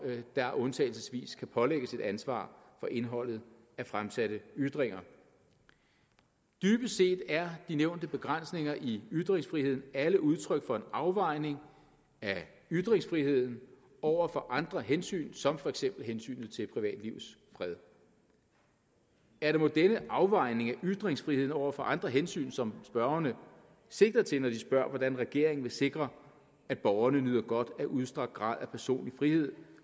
der undtagelsesvis kan pålægges et ansvar for indholdet af fremsatte ytringer dybest set er de nævnte begrænsninger i ytringsfriheden alle udtryk for en afvejning af ytringsfriheden over for andre hensyn som for eksempel hensynet til privatlivets fred er det mon denne afvejning af ytringsfriheden over for andre hensyn som spørgerne sigter til når de spørger om hvordan regeringen vil sikre at borgerne nyder godt af udstrakt grad af personlig frihed